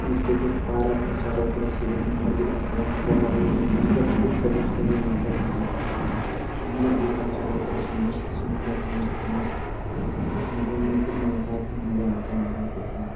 ये देखो पारक (पार्क) है चारों तरफ से एक नम्बर दिख रहा है पेड़-पौधा बैठने उठने सब कुछ का यवस्था मिलता है भाई देखो सुंदर दिख रहा है चारों तरफ से मस्त सुंदर है मस्त मस्त यहाँ घूमने फिरने में काफी मज़ा आता है भाई देखो।